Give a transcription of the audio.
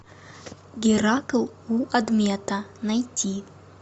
геракл у адмета найти